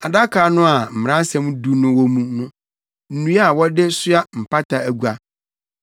adaka no a Mmaransɛm Du no wɔ mu no, nnua a wɔde soa Mpata agua;